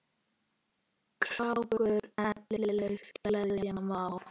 krákur eflaust gleðja má.